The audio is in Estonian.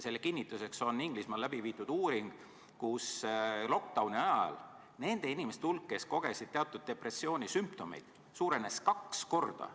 Selle kinnituseks on Inglismaal läbi viidud uuring, kus lockdown'i ajal nende inimeste hulk, kes kogesid teatud depressioonisümptomeid, suurenes kaks korda.